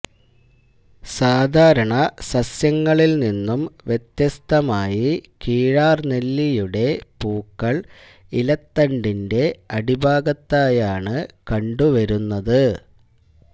സാധാരണ സസ്യങ്ങളിൽ നിന്നും വ്യത്യസ്തമായി കീഴാർനെല്ലിയുടെ പൂക്കൾ ഇലത്തണ്ടിന്റെ അടിഭാഗത്തായാണ് കണ്ടുവരുന്നത്